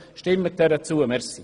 Stimmen Sie ihr zu!